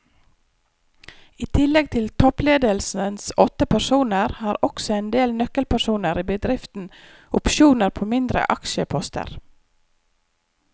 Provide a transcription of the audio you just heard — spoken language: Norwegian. I tillegg til toppledelsens åtte personer har også en del nøkkelpersoner i bedriften opsjoner på mindre aksjeposter.